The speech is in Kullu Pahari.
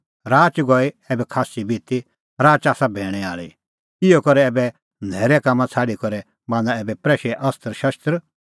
राच गई ऐबै खास्सी बिती राच आसा भैणै आल़ी इहअ करै ऐबै न्हैरे कामां छ़ाडी करै बान्हां ऐबै प्रैशे अस्त्रशस्त्र